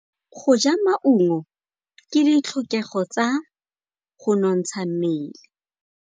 Go ja maungo ke ditlhokegô tsa go nontsha mmele.